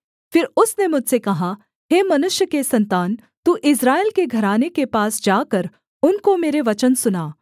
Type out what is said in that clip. फिर उसने मुझसे कहा हे मनुष्य के सन्तान तू इस्राएल के घराने के पास जाकर उनको मेरे वचन सुना